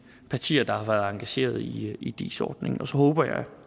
partier der har været engageret i i dis ordningen og så håber jeg at